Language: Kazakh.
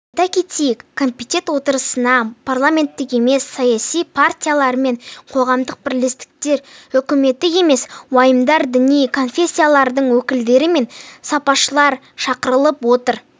айта кетейік комитет отырысына парламенттік емес саяси партиялар мен қоғамдық бірлестіктер үкіметтік емес ұйымдар діни конфессиялардың өкілдері мен сарапшылар шақырылып отыр